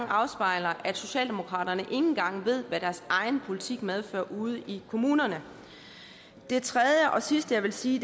afspejler at socialdemokratiet ikke engang ved hvad deres egen politik medfører ude i kommunerne det tredje og sidste jeg vil sige